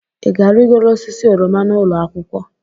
Ị ga-arịgoro osisi oroma n'ụlọ akwụkwọ?